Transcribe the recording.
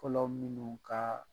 fɔlɔ minnu ka